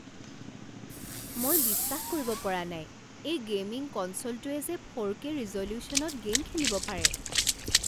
মই বিশ্বাস কৰিব পৰা নাই এই গে'মিং কনছ'লটোৱে যে ফ'ৰ কে ৰিজ'লিউশ্যনত গে'ম খেলিব পাৰে।